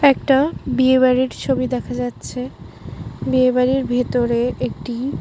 একটা বিয়ে বাড়ির ছবি দেখা যাচ্ছে বিয়ে বাড়ির ভেতরে একটি --